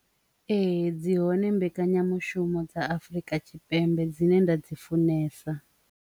Ee, dzi hone mbekanyamushumo dza Afurika Tshipembe dzine nda dzi funesa.